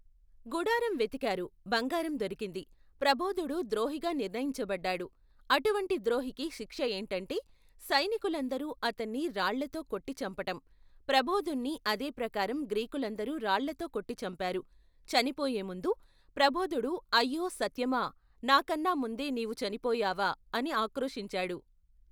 గుడారం వెతికారు బంగారం దొరికింది, ప్రబోధుడు ద్రోహిగా నిర్ణయించబడ్డాడు, అటువంటి ద్రోహికి శిక్ష ఏటంటే, సైనికులందరూ అతన్ని రాళ్లతో కొట్టి చంపటం, ప్రబోధుణ్ణి అదేప్రకారం గ్రీకులందరు రాళ్లతో కొట్టి చంపారు, చనిపోయే ముందు, ప్రబోధుడు అయ్యో సత్యమా, నా కన్నాముందే నీవు చనిపోయావా, అని ఆక్రోశించాడు.